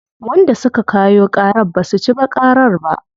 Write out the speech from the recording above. Wanda suka kayo ƙarar basu ci ba ƙarar ba.